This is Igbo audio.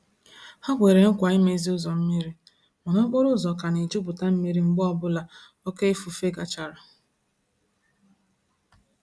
Ha kwere nkwa imezi ụzọ mmiri, mana okporo ụzọ ka na-ejuputa mmiri mgbe ọ bụla oké ifufe gachara.